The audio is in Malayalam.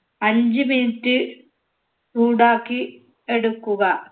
അഞ്ച്‌ minute ഉണ്ടാക്കി എടുക്കുക